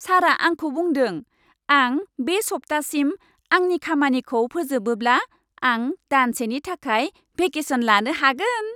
सारआ आंखौ बुंदों, आं बे सप्तासिम आंनि खामानिखौ फोजोबोब्ला आं दानसेनि थाखाय भेकेसन लानो हागोन।